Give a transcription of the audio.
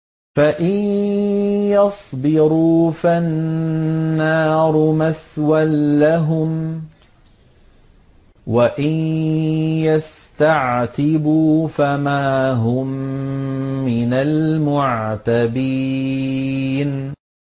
فَإِن يَصْبِرُوا فَالنَّارُ مَثْوًى لَّهُمْ ۖ وَإِن يَسْتَعْتِبُوا فَمَا هُم مِّنَ الْمُعْتَبِينَ